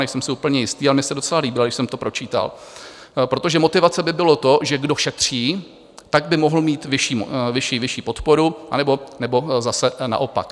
Nejsem si úplně jistý, ale mně se docela líbila, když jsem to pročítal, protože motivace by bylo to, že kdo šetří, tak by mohl mít vyšší podporu, anebo zase naopak.